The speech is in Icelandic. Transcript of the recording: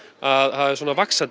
að það er stigvaxandi